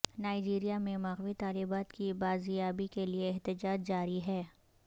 Nigeria میں مغوی طالبات کی بازیابی کے لیے احتجاج جاری ہے